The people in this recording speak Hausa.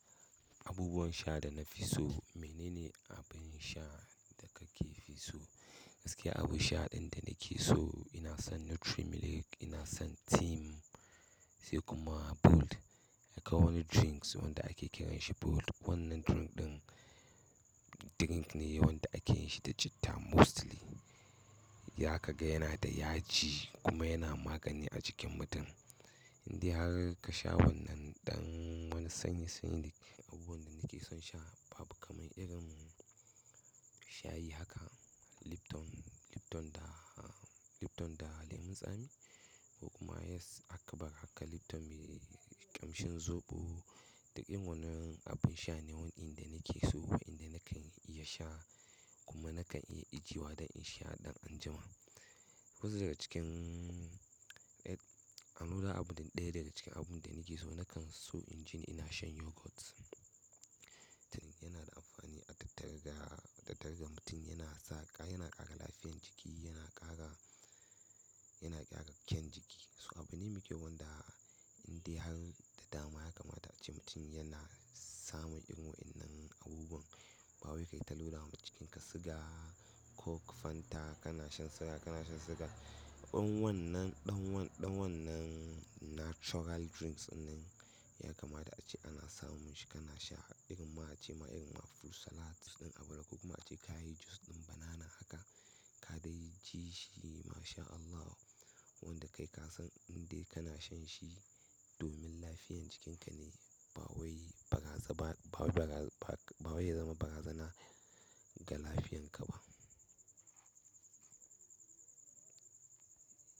Abubuwan sha da na fi so, mene ne abin sha da ka ke fi so? Gaskiya abin sha ɗin da nake so ina son. Nutri Milk, ina son Tim sai kuma Bold. Yakan wani drinks wanda ake kiranshi Bold. Wannan drink ɗin drink ne wanda ake yin shi da citta mostly. Zaka ga yana da yaji kuma yana magani a jikin mutum. Inde har ka sha wannan ɗan wani sanyi-sanyi. Abubuwan da nake son sha babu kaman irin shayi haka Lipton, Lipton da, Lipton da lemun tsami. Ko kuma yes aka bari haka Lipton mai ƙamshin zoɓo. Dukkan wannan abin sha ne wandanda nake so. Abubuwan ɗin nakan iya sha kuma nakan iya ijewa don in sha ɗan anjima. Wasu daga cikin, an loda abu ɗaya daga cikin abun da nake so nakan so inji ina shan yogurt. Duka ina amfani dasu sosai. So abune muke wanda inda har da dama ya kamata ace mutum yana samun irin waɗannan abubuwan. Ba wai kai ta loda ma cikinka siga, coke, fanta, kana shan soya, kana shan siga. Dan wannan, ɗan wannan, ɗan wannan natural drinks wannan ya kamata ace ana samun shi kana sha irin ma ace ma irin ma fruit salad ɗin abu daga ko kuma ace ka yi jus ɗin banana haka ka dai ji shi Masha Allah. Wanda kai ka san inda kana shan shi domin lafiyan cikinka ne ba wai baraza ba, ba wai baraza ba, ba wai ya zama barazana ga lafiyanka ba.